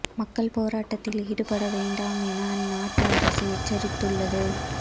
மக்கள் போராட்டத்தில் ஈடுபட வேண்டாம் என அந்நாட்டு அரசு எச்சரித்துள்ளது